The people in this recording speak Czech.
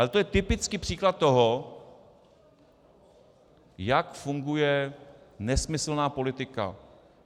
Ale to je typický příklad toho, jak funguje nesmyslná politika.